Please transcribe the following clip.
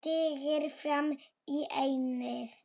Stingir fram í ennið.